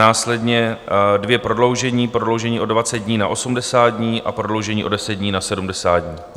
Následně dvě prodloužení - prodloužení o 20 dní na 80 dní a prodloužení o 10 dní na 70 dní.